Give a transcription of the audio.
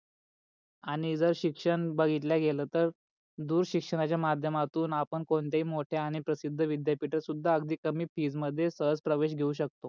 आणि जर शिक्षण बगीतल्या गेल तर दृश शिक्षणाच्या माध्येमातून आपण कोणत्या ही मोठ्या आणि प्रशिध विद्यापीठ सुद्धा अगदी कमी फी मध्ये सहज प्रवेश घेऊन शकतो.